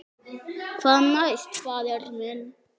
Hvað næst, faðir minn?